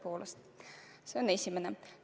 See on esimene.